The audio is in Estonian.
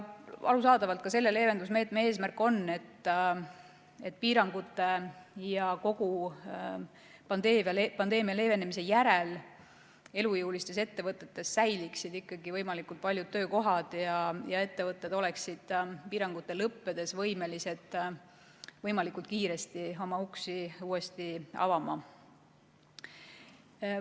Arusaadavalt on ka selle leevendusmeetme eesmärk see, et piirangute ja kogu pandeemia leevenemise järel säiliksid elujõulistes ettevõtetes ikkagi võimalikult paljud töökohad ja ettevõtted oleksid piirangute lõppedes võimelised võimalikult kiiresti oma uksed uuesti avama.